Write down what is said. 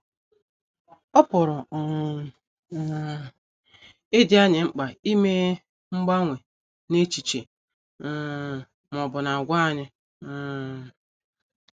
Ọ pụrụ um um ịdị anyị mkpa ime mgbanwe n’echiche um ma ọ bụ n’àgwà anyị. um